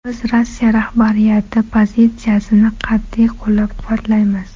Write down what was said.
Biz Rossiya rahbariyati pozitsiyasini qat’iy qo‘llab-quvvatlaymiz.